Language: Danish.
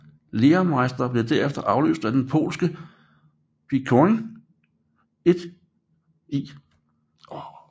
Lehrmeister blev derefter afløst af den polske Bocian 1E